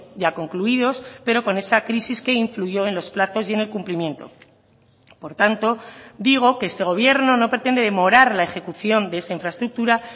ya concluidos pero con esa crisis que influyó en los plazos y en el cumplimiento por tanto digo que este gobierno no pretende demorar la ejecución de esa infraestructura